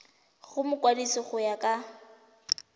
go mokwadise go ya ka